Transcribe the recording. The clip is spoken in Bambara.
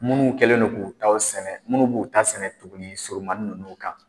Minnu kɛlen don k'u ta sɛnɛ minnu b'u ta sɛnɛ tugunnin surumannin ninnu kan